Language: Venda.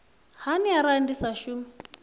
hani arali ndi sa shumi